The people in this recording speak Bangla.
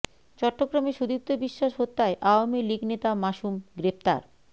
চট্টগ্রামে সুদীপ্ত বিশ্বাস হত্যায় আওয়ামী লীগ নেতা মাসুম গ্রেফতার